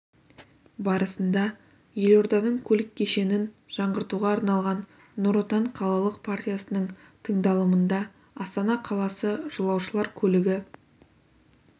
барысында елорданың көлік кешенін жаңғыртуға арналған нұр отан қалалық партиясының тыңдалымында астана қаласы жолаушылар көлігі